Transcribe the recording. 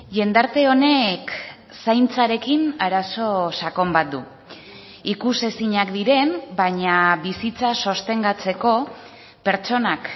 jendarte honek zaintzarekin arazo sakon bat du ikusezinak diren baina bizitza sostengatzeko pertsonak